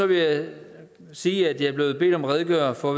vil jeg sige at jeg er blevet bedt om at redegøre for